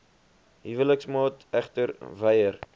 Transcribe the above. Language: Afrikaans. huweliksmaat egter weier